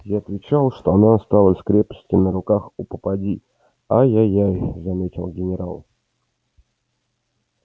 я отвечал что она осталась в крепости на руках у попадьи ай ай ай заметил генерал